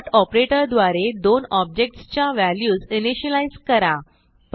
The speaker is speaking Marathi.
डॉट ऑपरेटर द्वारे दोन ऑब्जेक्ट्स च्या व्हॅल्यूज इनिशियलाईज करा